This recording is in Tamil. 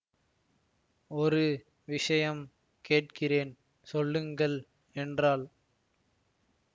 ஒரு விஷயம் கேட்கிறேன் சொல்லுங்கள் என்றாள்